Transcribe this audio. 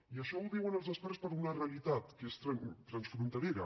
i això ho diuen els experts per a una realitat que és transfronterera